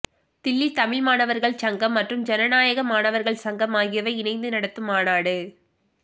தில்லி தமிழ் மாணவர்கள் சங்கம் மற்றும் ஜனநாயக மாணவர்கள் சங்கம் ஆகியவை இணைந்து நடத்தும் மாநாடு